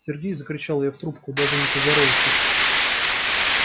сергей закричала я в трубку даже не поздоровавшись